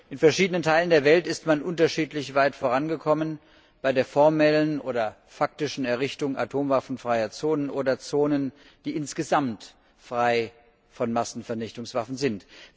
In verschiedenen Teilen der Welt ist man unterschiedlich weit vorangekommen bei der formellen oder faktischen Errichtung atomwaffenfreier Zonen oder Zonen, die insgesamt frei von Massenvernichtungswaffen sind.